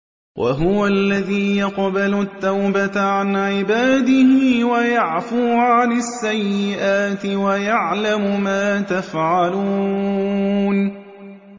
وَهُوَ الَّذِي يَقْبَلُ التَّوْبَةَ عَنْ عِبَادِهِ وَيَعْفُو عَنِ السَّيِّئَاتِ وَيَعْلَمُ مَا تَفْعَلُونَ